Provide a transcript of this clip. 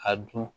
A dun